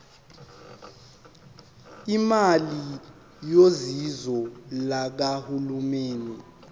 imali yosizo lukahulumeni